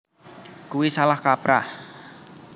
Kuwi salah kaprah